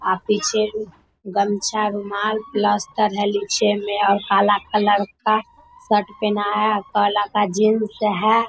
आ पीछे भी गमछा रुमाल पलस्तर है नीचे में और काला कलर का शर्ट पहना है और काला का जीन्स है।